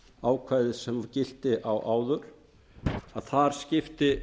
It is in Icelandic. ákvæði sem gilti áður að þar skipti